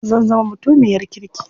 Zan zama mutumiyar kirki.